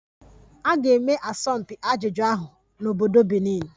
A ga-eme asọmpi ajụjụ ahụ n'obodo Benin